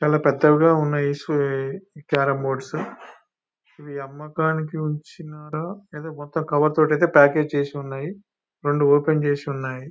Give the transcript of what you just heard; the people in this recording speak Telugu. చాలా పెద్దవిగా ఉన్నాయి. ఈ క్యారం బోర్డ్స్ .ఇవ్వి అమ్మకానికి ఉంచినారా లేదా మొత్తం కవర్ తో ఐతే ప్యాకేజ్ చేసి ఉన్నాయి. రెండు ఓపెన్ చేసి ఉన్నాయి.